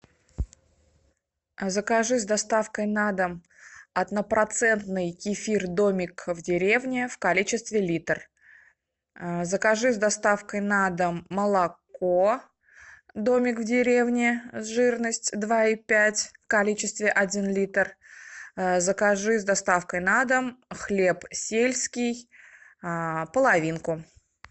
а закажи с доставкой на дом однопроцентный кефир домик в деревне в количестве литр закажи с доставкой на дом молоко домик в деревне жирность два и пять в количестве один литр закажи с доставкой на дом хлеб сельский половинку